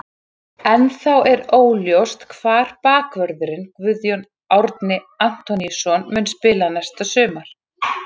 Ennþá er óljóst hvar bakvörðurinn Guðjón Árni Antoníusson mun spila næsta sumar.